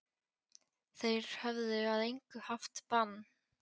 Þeir höfðu að engu haft bann